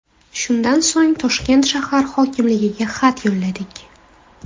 Shundan so‘ng Toshkent shahar hokimligiga xat yo‘lladik.